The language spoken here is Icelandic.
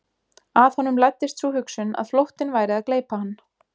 Að honum læddist sú hugsun að flóttinn væri að gleypa hann.